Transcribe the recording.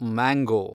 mango